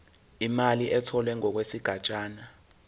imali etholwe ngokwesigatshana